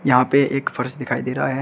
यहां पे एक फर्श दिखाई दे रहा है।